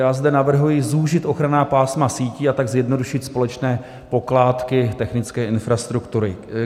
Já zde navrhuji zúžit ochranná pásma sítí a tak zjednodušit společné pokládky technické infrastruktury.